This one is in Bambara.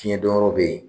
Fiɲɛ don yɔrɔ be yen